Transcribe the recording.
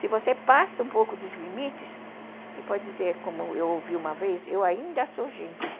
Se você passa um pouco dos limites, e pode dizer, como eu ouvi uma vez, eu ainda sou gente.